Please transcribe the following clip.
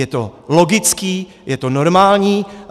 Je to logický, je to normální.